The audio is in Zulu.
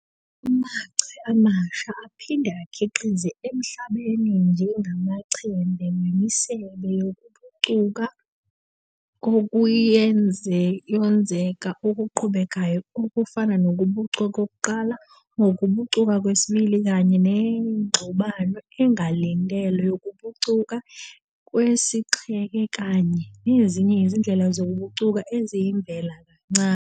Amachwe amasha aphinde akhiqizeke emhlabeni njengamaChembe wemisebe yokubucuka kokuyonzeka okuqhubekayo okufana nokubucuka kokuqala, ukubucuka kwesibili Kanye nengxubano engalindelwe, ukubucuka kwesixheke kanye nezinye izindlela zokubucuka eziyivela kancane.